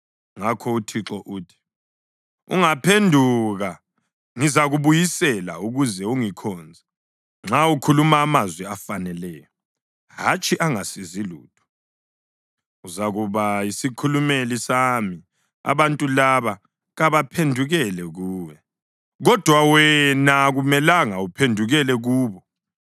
Ngakho uThixo uthi: “Ungaphenduka, ngizakubuyisela ukuze ungikhonze; nxa ukhuluma amazwi afaneleyo, hatshi angasizi lutho, uzakuba yisikhulumeli sami. Abantu laba kabaphendukele kuwe, kodwa wena akumelanga uphendukele kubo.